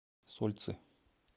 сольцы